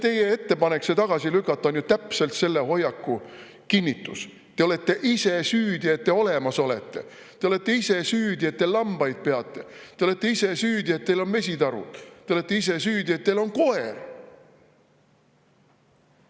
" Teie ettepanek see tagasi lükata on ju täpselt selle hoiaku kinnitus: te olete ise süüdi, et te olemas olete; te olete ise süüdi, et te lambaid peate; te olete ise süüdi, et teil on mesitarud; te olete ise süüdi, et teil on koer.